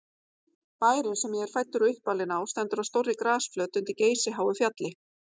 Bærinn, sem ég er fæddur og uppalinn á, stendur á stórri grasflöt undir geysiháu fjalli.